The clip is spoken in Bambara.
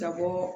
Na bɔ